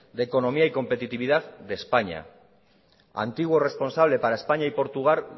de economía y competitividad de españa antiguo responsable para españa y portugal